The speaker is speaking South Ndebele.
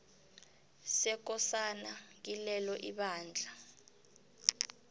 sekosana kilelo ibandla